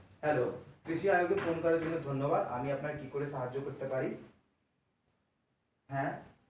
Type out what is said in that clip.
Hello, কৃষিআয়নে phone করার জন্য ধন্যবাদ, আমি আপনাকে কীভাবে সাহায্য করতে পারি? হ্যা